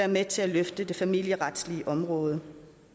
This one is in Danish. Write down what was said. med til at løfte det familieretslige område